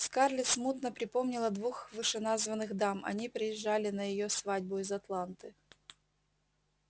скарлетт смутно припомнила двух вышеназванных дам они приезжали на её свадьбу из атланты